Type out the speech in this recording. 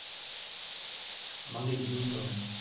மங்கை நீங்க சொல்லுங்க